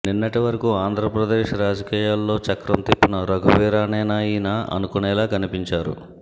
నిన్నటి వరకు ఆంధ్రప్రదేశ్ రాజకీయాల్లో చక్రం తిప్పిన రఘువీరానేనా ఈయన అనుకునేలా కనిపించారు